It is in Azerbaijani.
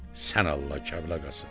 Sən Allah, Kərbəlayı Qasım!